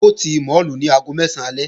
Wọ́n ó ti máàlù ní aago mẹ́sán alẹ́